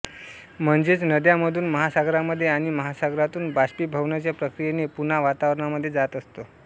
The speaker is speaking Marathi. म्हणजेच नद्यांमधून महासागरामध्ये आणि महासागरातून बाष्पीभवनाच्या प्रक्रियेने पुन्हा वातावरणामध्ये जात असतो